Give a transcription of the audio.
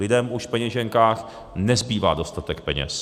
Lidem už v peněženkách nezbývá dostatek peněz.